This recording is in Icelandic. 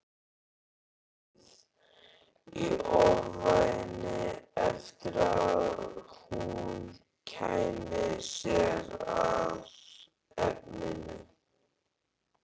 Beið í ofvæni eftir að hún kæmi sér að efninu.